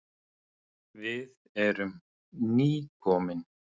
Við erum nýkomin.